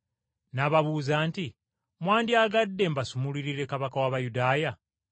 N’ababuuza nti, “Mwandyagadde mbasumululire kabaka w’Abayudaaya?”